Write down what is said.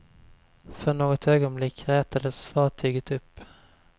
För något ögonblick rätades fartyget upp.